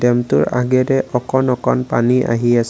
ডেমটোৰ আগেৰে অকন অকন পানী আহি আছে।